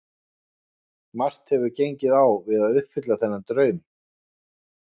Margt hefur gengið á við að uppfylla þennan draum.